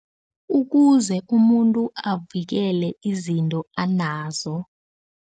Ukuze umuntu avikele izinto anazo.